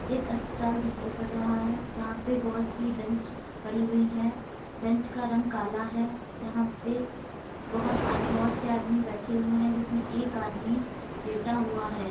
एक अस्पताल दिखाई पड़ रहा है जहां पे बहुत सी बैंच पड़ी हुई है। बेंच का रंग काला है यहां पे बहोत आदमी बहोत से आदमी बैठे हुए हैं जिसमें एक आदमी लेटा हुआ है।